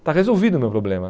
Está resolvido o meu problema.